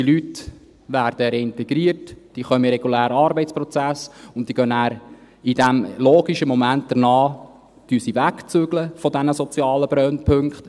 – Diese Leute werden reintegriert, sie kommen in den regulären Arbeitsprozess und ziehen danach logischerweise weg von diesen sozialen Brennpunkten.